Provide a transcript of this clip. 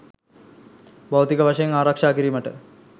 භෞතික වශයෙන් ආරක්‍ෂා කිරීමට